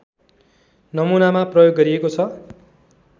नमुनामा प्रयोग गरिएको छ